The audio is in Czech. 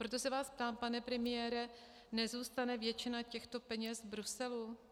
Proto se vás ptám, pane premiére - nezůstane většina těchto peněz v Bruselu?